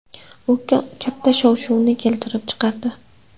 U katta shov-shuvni keltirib chiqardi.